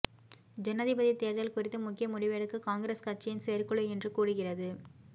ஜனாதிபதி தேர்தல் குறித்து முக்கிய முடிவெடுக்க காங்கிரஸ் கட்சியின் செயற்குழு இன்று கூடுகிறது